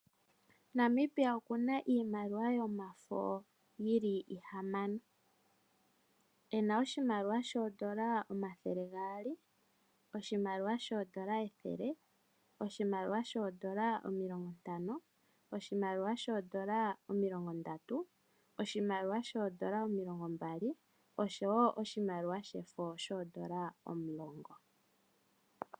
Namibia oku na iimakiwa yomafo yi li ihamano. Ena oshimaliwa shoodola omathele gaali, oshimaliwa shoodola ethele, oshimaliwa shoodola omilongontano, oshimaliwa shoodola omilongondatu, oshimaliwa shoodola omilongombali noshowo oshimaliwa shefo shoodola omulongo.